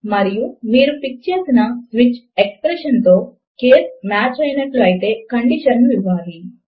మరియు మీరు పిక్ చేసిన స్విచ్ ఎక్స్ప్రెషన్ తో కేస్ మాచ్ అయినట్లు అయితే కండీషన్ ను ఇవ్వాలి